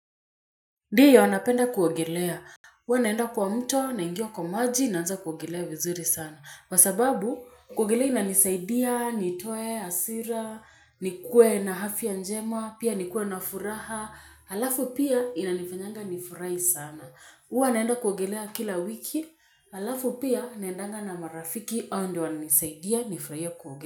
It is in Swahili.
Ndiyo napenda kuogelea. Huwa naenda kwa mto, naingia kwa maji, naanza kuogelea vizuri sana. Kwa sababu, kuogelea inanisaidia, nitoe, hasira, nikuwe na afya njema, pia nikuwe na furaha, halafu pia inanifanyanga nifurahi sana. Huwa naenda kuogelea kila wiki, halafu pia naendanga na marafiki hao ndio wananisaidia nifurahie kuogelea.